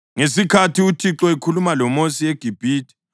Ngesikhathi uThixo ekhuluma loMosi eGibhithe,